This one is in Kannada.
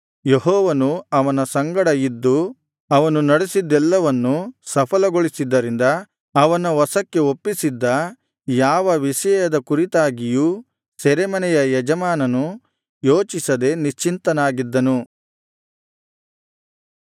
ಯೆಹೋವನು ಅವನ ಸಂಗಡ ಇದ್ದು ಅವನು ನಡಿಸಿದ್ದೆಲ್ಲವನ್ನು ಸಫಲಗೊಳಿಸಿದ್ದರಿಂದ ಅವನ ವಶಕ್ಕೆ ಒಪ್ಪಿಸಿದ್ದ ಯಾವ ವಿಷಯದ ಕುರಿತಾಗಿಯೂ ಸೆರೆಮನೆಯ ಯಜಮಾನನು ಯೋಚಿಸದೆ ನಿಶ್ಚಿಂತನಾಗಿದ್ದನು